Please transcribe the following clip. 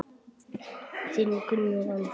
Þinn Gunnar Andri.